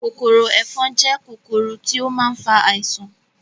Kòkòrò ẹ̀fọn jẹ́ kòkòrò tí ó ma ń fa àisàn